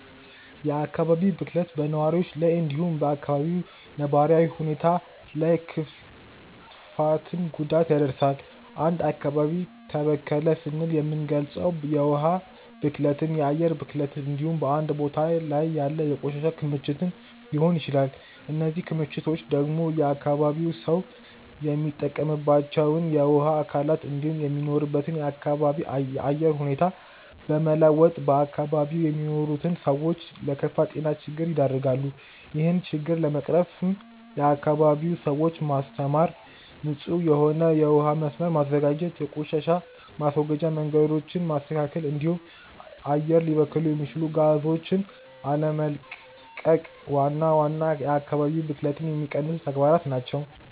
የአካባቢ ብክለት በነዋሪዎች ላይ እንዲሁም በ አካባቢው ነባራዊ ሁኔታ ላይ ክፍትን ጉዳት ያደርሳል። አንድ አካባቢ ተበከለ ስንል የምንልገጸው የውሀ ብክለትን፣ የአየር ብክለትን እንዲሁም በአንድ ቦታ ላይ ያለ የቆሻሻ ክምችትን ሊሆን ይችላል። እነዚህ ክምችቶች ደግሞ የአካባቢው ሰው የሚጠቀምባቸውን የውሀ አካላት እንዲሁም የሚኖርበትን አካባቢ የአየር ሁኔታ በመለወጥ በአካባቢው የሚኖሩትን ሰዎች ለከፋ የጤና ችግር ይደረጋሉ። ይህን ችግር ለመቅረፍም የአካባቢውን ሰዎች ማስተማር፣ ንጹህ የሆነ የውሀ መስመርን መዘርጋት፣ የቆሻሻ ማስወገጃ መንገዶችን ማስተካከል እንዲሁም አየር ሊበክሉ የሚችሉ ጋዞችን አለመቀቅ ዋና ዋና የአካባቢ ብክለትን የሚቀንሱ ተግባራት ናቸው።